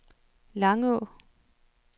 Langå